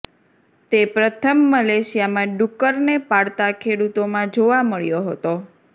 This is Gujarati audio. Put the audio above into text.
તે પ્રથમ મલેશિયામાં ડુક્કરને પાળતા ખેડુતોમાં જોવા મળ્યો હતો